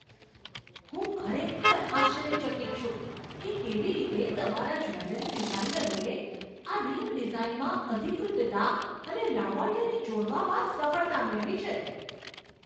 હું ખરેખર આશ્ચર્યચકિત છું કે કેવી રીતે તમારા જ્વેલરી ડિઝાઇનરોએ આ રીંગ ડિઝાઇનમાં અધિકૃતતા અને લાવણ્યને જોડવામાં સફળતા મેળવી છે.